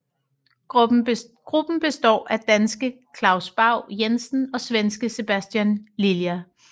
Gruppen består af danske Klaus Bau Jensen og svenske Sebastian Lilja